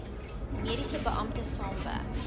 mediese beampte saamwerk